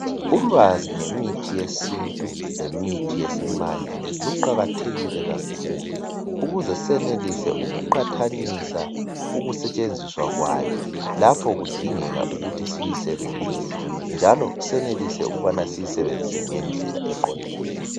Ulwazi ngemithi yesintu lemithi yesimanje luqakathekile kakhulu ukuze siyenelise ukuqathanisa ukusetshenziswa kwayo lapho kudingeka ukuthi siyisebenzise njalo senelise ukuthi siyisebenzise ngendlela eqondileyo.